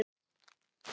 Áhugi frá öðrum liðum?